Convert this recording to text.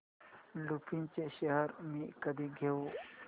लुपिन चे शेअर्स मी कधी घेऊ